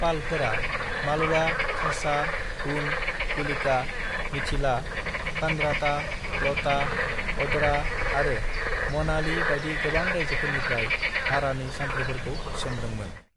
"पालफोरा मालवा, खासा, हूण, कुलिका, मिथिला, कनराता, लता, ओडरा आरो मनाहली बायदि गोबां रायजोफोरनिफ्राय भारानि सान्थ्रिफोरखौ थिसनदोंमोन।"